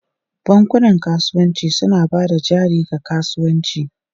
Bankunan kasuwanci suna ba da jari ga kasuwanci.